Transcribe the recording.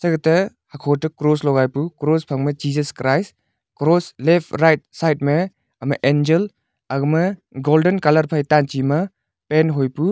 hoto hakho kah cross logai pu cross phang ma jesus christ cross left right side me ama angel agama golden colour colour phai tanche ma pan hoi pu.